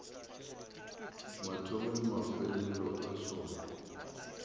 mathomo le mafelelo a sona